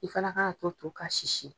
I fana k'a to to kasisi